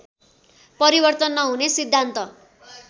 परिवर्तन नहुने सिद्धान्त